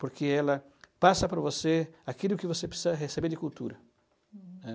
Porque ela passa para você aquilo que você precisa receber de cultura. Uhm. Né?